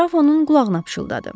Qraf onun qulağına pıçıldadı.